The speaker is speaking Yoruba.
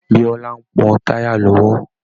Bíọ́lá ń pọ́ táyà lọ́wọ́